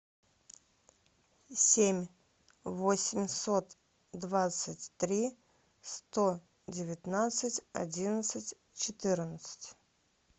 семь восемьсот двадцать три сто девятнадцать одиннадцать четырнадцать